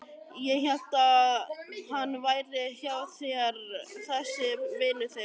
Ég hélt að hann væri hjá þér þessi vinur þinn.